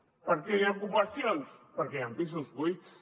per què hi ha ocupacions perquè hi han pisos buits